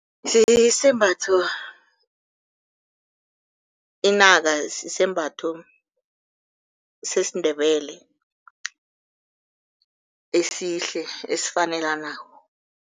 Sisembatho inaka sisembatho sesiNdebele, esihle, esifanelanako.